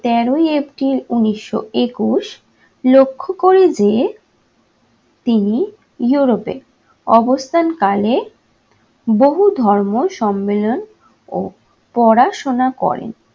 তেরোই april উনিশশো একুশ লক্ষ্য করে যে তিনি europe এ অবস্থানকালে বহু ধর্ম সম্মেলন ও পড়াশোনা করেন।